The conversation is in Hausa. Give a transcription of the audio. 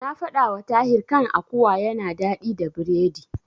Na faɗawa Tahir kan akuwa yana daɗi da biredi.